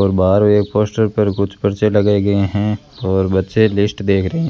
और बाहर एक पोस्टर पर कुछ पर्चे लगाए गए हैं और बच्चे लिस्ट देख रहे हैं।